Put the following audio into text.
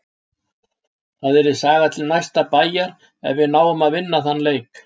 Það yrði saga til næsta bæjar ef við náum að vinna þann leik.